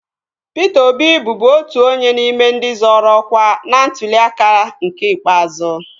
Pịta Obi bụbu otu onye n'ime ndị zoro ọkwa n'ntuli aka nke ikpeazụ